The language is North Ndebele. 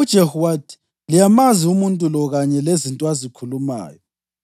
UJehu wathi, “Liyamazi umuntu lo kanye lezinto azikhulumayo.”